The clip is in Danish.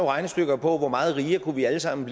regnestykker på hvor meget rigere vi alle sammen